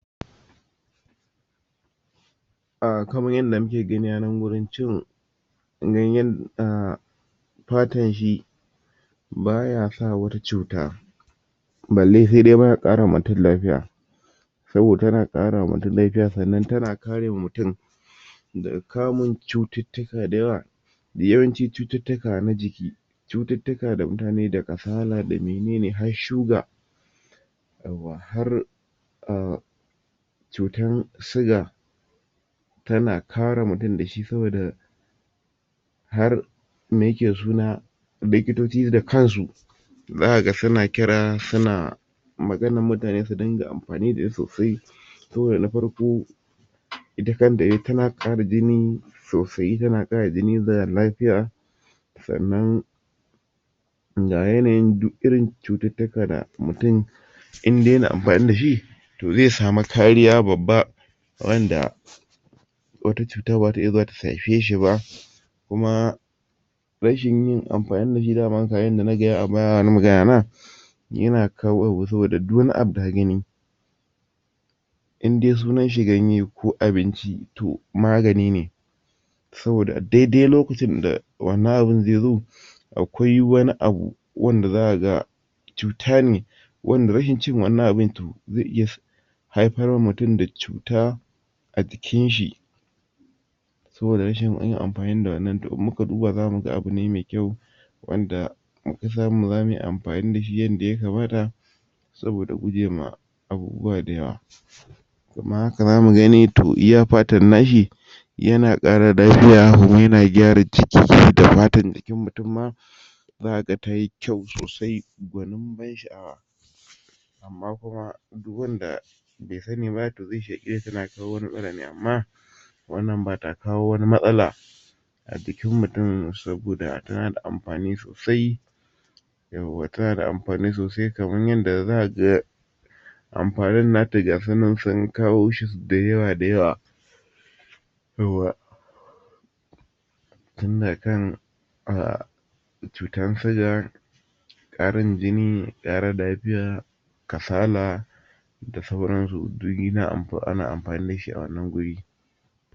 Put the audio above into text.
Kaman yanda muke gani a nan gurin cin ganyan umm fatanshi bayasa wata cuta balle sai dai ma ya karawa mutum lafiya saboda tana karawa mutum lafiya sannan tana kare mutum daga kamun cututtuka da yawa yawancin cututtuka na jiki cututtuka da mutane da kasala da menene har sugar yauwa har umm cutan siga tana kare mutum dashi saboda har me yake da suna likitoci da kansu za kaga suna kira suna maganan mutane su dinga amfani da sosai kawai na farko ita kanta tana ƙara jini sosai tana ƙara jini da lafiya sannan ga yanayin duk irin cututtuka da mutum indai yana amfani dashi to zai samu kariya babba wanda wata cuta baza ta iya zuwa ta shafe shiba kuma rashin yin amfani dashi dama kamar yanda na gaya a baya na magana na yana kawowa saboda duk wani abu da kagani indai sunan shi ganye ko abinci to magani ne saboda a daidai lokacin da wannan abun zaizo akwai wani abu wanda zaka ga cutane wanda rashin cin wannan abun to zai iya haifar mutum da cuta a jikinshi saboda rashin yin amfani da wannan to in muka duba zamuga abu ne me kyau wanda muka samu zamuyi amfani dashin yanda ya kamata saboda gujema abubuwa da yawa. Kuma haka zamu gani to iya fatan nashi yana ƙara lafiya kuma yana gyara jiki da patan jikin mutum ma zaka ga tayi kyau sosai gwanin ban sha'awa. Amma kuma duk wanda be sani ba to zai tana kawo wani matsala amma wannan bata kawo wani matsala a jikin mutum saboda tana da amfani sosai yauwa tana da amfani sosai kamar yanda zaka ga amfanin nata gasunan sun kawoshi da yawa da yawa yauwa tun daga kan um cutan siga, ƙarin jini, ƙara lafiya, kasala da sauransu duk ana amfani dashi a wannan guri.